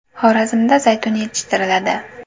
Xorazmda zaytun yetishtiriladi.